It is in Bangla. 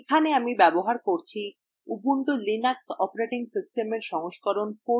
এখানে আমি ব্যবহার করছি ubuntu linux অপারেটিং সিস্টেমের সংস্করণ 1404